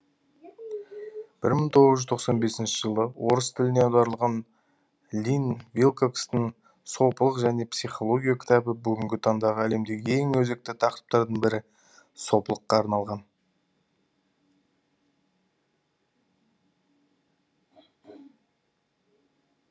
бір мың тоғыз жүз тоқсан бесінші жылы орыс тіліне аударылған линн вилкокстың сопылық және психология кітабы бүгінгі таңдағы әлемдегі ең өзекті тақырыптардың бірі сопылыққа арналған